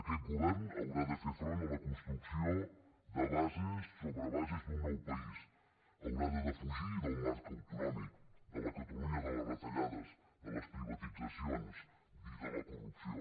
aquest govern haurà de fer front a la construcció de bases sobre bases d’un nou país haurà de defugir el marc autonòmic la catalunya de les retallades les privatitzacions i la corrupció